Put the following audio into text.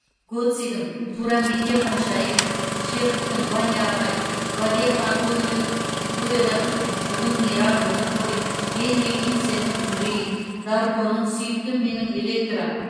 гоццидің туранбике ханшайым чеховтың ваня ағай вальехо антонио буэроның бүгін мейрам бүгін той генрик ибсеннің үрей дарконың сүйіктім менің электра